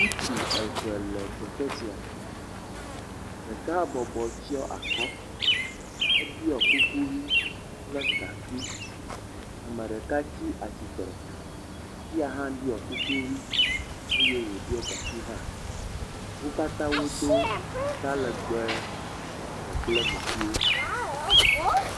Ŋutsu eve le teƒe sia ɖeka bɔbɔ tsɔ akɔ, eɖiɔ kuku ʋi kple gakui. Ame ɖeka tsi atsitre eya hã ɖiɔ kuku ʋi eye woɖo gakui hã. Wo katã wodo atalegbe dzɔ kple meƒuiwo.